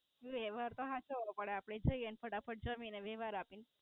વ્હવહાર તો હાચવો પડે, આપડે જયે ને ફટાફટ જમી ને વ્યહાર આપી ન.